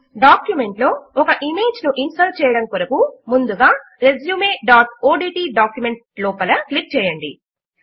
document లో ఒక image ను ఇన్సర్ట్ చేయడము కొరకు ముందుగా resumeఓడ్ట్ డాక్యుమెంట్ లోపల క్లిక్ చేయండి